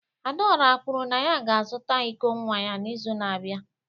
Adaora kwuru na ya ga-azụta iko nwa ya n'izu na-abịa